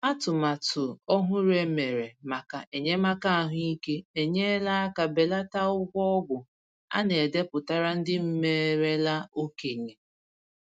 Atụmatụ ọhụrụ e mere maka enyémàkà ahụ́ íké enyela aka belata ụgwọ ọgwụ a na-edepụtara ndị merela okenye